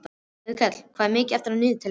Auðkell, hvað er mikið eftir af niðurteljaranum?